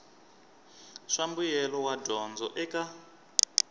swa mbuyelo wa dyondzo eka